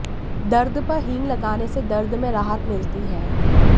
दर्द पर हींग लगाने से दर्द में राहत मिलती है